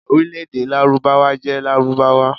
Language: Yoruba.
Orílẹ̀ èdè Lárúbáwá jẹ́ Lárúbáwá.